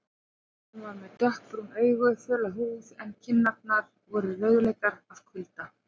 Hann var með dökkbrún augu, föla húð en kinnarnar voru rauðleitar af kulda.